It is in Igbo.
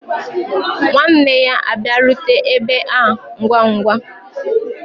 Nwanne ya abịarute ebe a ngwa ngwa.